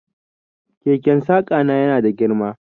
Keken saƙa na yana da girma.